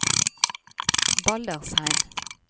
Baldersheim